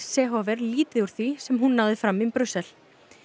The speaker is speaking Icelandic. Seehofer lítið úr því sem hún náði fram í Brussel